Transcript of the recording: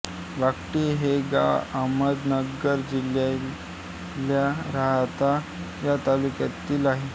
वाकडी हे गाव अहमदनगर जिल्ह्यातल्या राहाता या तालुक्यातील आहे